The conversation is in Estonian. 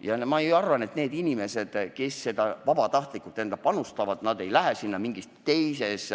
Ja ma ei arva, et need inimesed, kes vabatahtlikuna panustavad, läheksid sinna mingist teisest